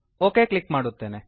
okay click ಮಾಡುತ್ತೇನೆ